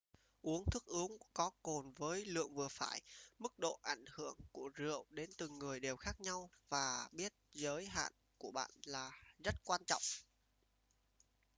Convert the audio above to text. uống thức uống có cồn với lượng vừa phải mức độ ảnh hưởng của rượu đến từng người đều khác nhau và biết giới hạn của bạn rất quan trọng